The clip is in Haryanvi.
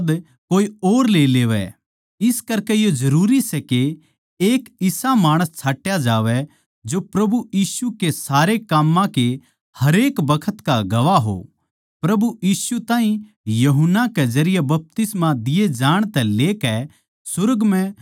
इस करकै यो जरूरी सै के एक इसा माणस छाट्या जावै जो प्रभु यीशु के सारे काम्मां के हरेक बखत का गवाह हो प्रभु यीशु ताहीं यूहन्ना के जरिये बपतिस्मा दिये जाण तै लेकै सुर्ग म्ह स्वीकार किये जाण तक